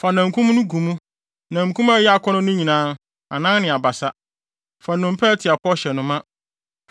Fa namkum no gu mu, namkum a ɛyɛ akɔnnɔ no nyinaa, anan ne abasa. Fa nnompe a ɛte apɔw hyɛ no ma;